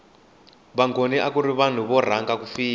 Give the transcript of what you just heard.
vangoni akuri vanhu vo rhanga ku fika